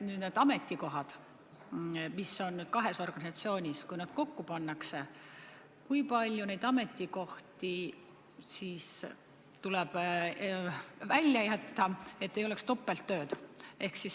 Kui need ametikohad, mis on kahes organisatsioonis, kokku pannakse, siis kui palju ametikohti jääb üle, et ei oleks topelttööd?